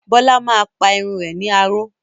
Bólá máa pa irun rẹ̀ ní aró.